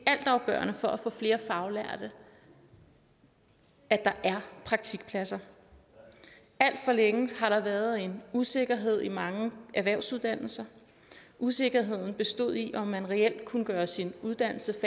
altafgørende for at få flere faglærte at der er praktikpladser alt for længe har der været en usikkerhed i mange erhvervsuddannelser usikkerheden bestod i om man reelt kunne gøre sin uddannelse